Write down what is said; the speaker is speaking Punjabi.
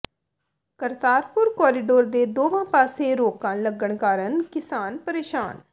ਕਰਤਾਰਪੁਰ ਕੋਰੀਡੋਰ ਦੇ ਦੋਵਾਂ ਪਾਸੇ ਰੋਕਾਂ ਲੱਗਣ ਕਾਰਨ ਕਿਸਾਨ ਪਰੇਸ਼ਾਨ